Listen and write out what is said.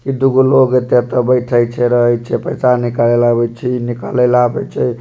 इ दुगो लोग एता-एता बैठे छै रहे छै पैसा निकाले ले आवे छै इ निकाले ले आवे छै।